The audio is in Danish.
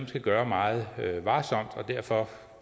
skal gøre meget varsomt